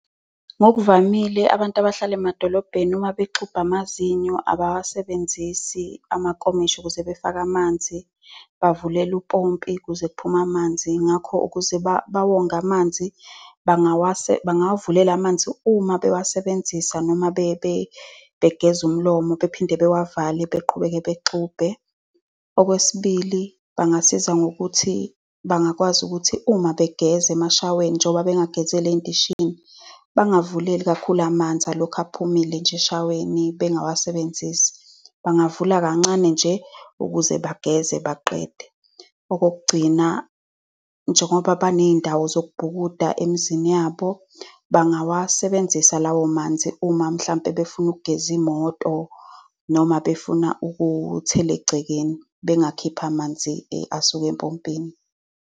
Ngokuvamile abantu abahlala emadolobheni uma bexubha amazinyo abawasebenzisi amakomishi ukuze befake amanzi. Bavulela umpompi ukuze kuphume amanzi. Ngakho ukuze bawonge amanzi, bangawawavulela amanzi uma bewasebenzisa noma uma begeza umlomo, bephinde bewavale, beqhubeke bexubhe. Okwesibili, bangasiza ngokuthi bangakwazi ukuthi uma begeza emashaweni, njoba bengagezeli ey'ndishini, bangavuleli kakhulu amanzi, alokhu ephumile nje eshaweni, bengawasebenzisi. Bangavula kancane nje ukuze bageze baqede. Okokugcina, njengoba baney'ndawo zokubuka emizini yabo, bangawasebenzisa lawo manzi uma mhlampe befuna ukugeza imoto noma befuna ukuthela egcekeni, bengakhipha amanzi asuke empompini.